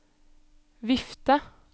vifte